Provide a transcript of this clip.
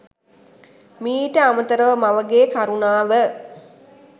මීට අමතරව මවගේ කරුණාව